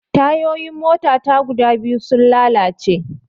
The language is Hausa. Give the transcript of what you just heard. Tayoyin mota ta guda biyu sun lalace